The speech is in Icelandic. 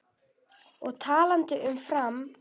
Og talandi um Fram.